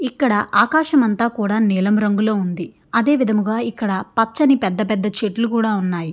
ఇక్కడ ఆకాశం అంతా కూడా నీలం రంగులో ఉంది అదే విధముగా ఇక్కడ పచ్చని పెద్ధ పెద్ధ చెట్లు కూడా ఉన్నాయి.